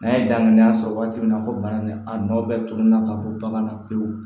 N'a ye danganiya sɔrɔ waati min na ko bana nin a nɔ bɛ tugun na ka bɔ bagan na pewu